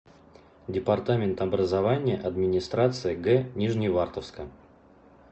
департамент образования администрации г нижневартовска